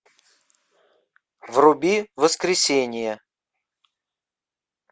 вруби воскресенье